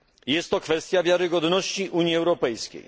Jest to kwestia wiarygodności Unii Europejskiej.